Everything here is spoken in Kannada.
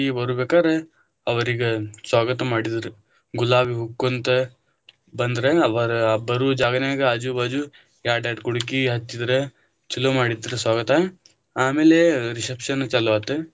ಬರುಬೇಕಾರ ಅವ್ರಿಗೆ ಸ್ವಾಗತ ಮಾಡಿದರ, ಗುಲಾಬಿ ಹೂ ಹಾಕೊಂತ ಬಂದ್ರ ಅವರ ಬರು ಜಾಗನಾಗ ಆಜು ಬಾಜು ಯಾಡ್ಯಡ ಕುಡಕಿ ಹಚ್ಚಿದರ ಚೊಲೊ ಮಾಡಿದ್ರ ಸ್ವಾಗತ, ಆಮೇಲೆ reception ಚಾಲು ಆತ.